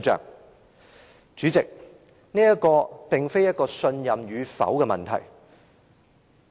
代理主席，這並非信任與否的問題。